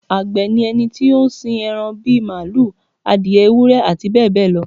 Àgbẹ̀ ni ẹni tó ń sin ẹran bí màlúù, adìẹ, ewúrẹ́ àti bẹ́ẹ̀ bẹ́ẹ̀ lọ